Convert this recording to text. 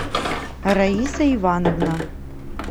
раиса ивановна